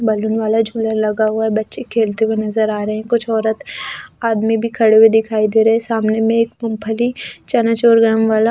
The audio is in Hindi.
बलून वाला झोला लगा हुआ है बच्चे खेलते हुए नजर आ रहे हैं कुछ औरत आदमी भी खड़े हुए दिखाई दे रहे हैं सामने में एक मूंगफ़ली चना चौरग्राम वाला--